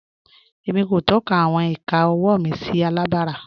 Émi kò tọ̀kà àwọn ìkà ọ̀wọ́ mi sí àlàbárà.